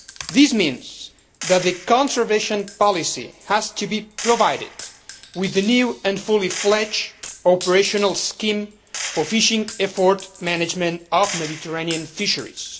This means that the conservation policy has to be provided with a new and fully fledged operational scheme for fishing effort management of Mediterranean fisheries.